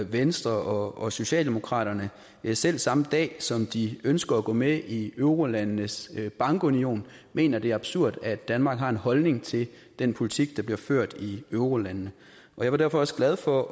venstre og socialdemokraterne selv samme dag som de ønsker at gå med i eurolandenes bankunion mener det er absurd at danmark har en holdning til den politik der bliver ført i eurolandene jeg var derfor også glad for